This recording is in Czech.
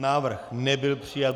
Návrh nebyl přijat.